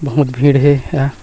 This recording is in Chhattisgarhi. बहुत भीड़ हे या--